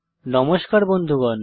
নমস্কার বন্ধুগণ